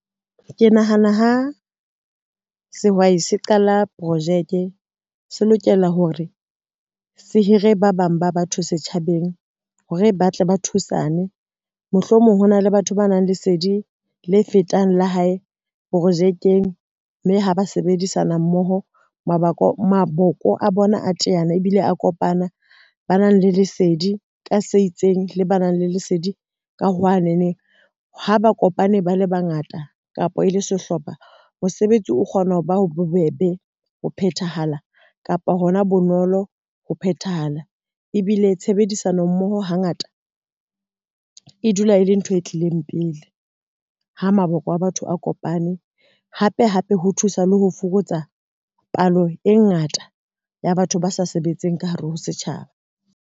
Ke nahana ha sehwai se qala projeke se lokela hore se hire ba bang ba batho setjhabeng hore ba tle ba thusane, mohlomong ho na le batho ba nang le sedi le fetang la hae projekeng, mme ha ba sebedisana mmoho maboko a bona a teana ebile a kopana. Ba nang le lesedi ka se itseng le ba nang le lesedi ka hwa neneng ha ba kopane ba le bangata kapa e le sehlopha, mosebetsi o kgona ho ba bobebe ho phethahala kapa hona bonolo ho phethahala ebile tshebedisano mmoho hangata e dula e le ntho e tlileng pele ha maboko a batho a kopane. Hape hape ho thusa le ho fokotsa palo e ngata ya batho ba sa sebetseng ka hare ho setjhaba.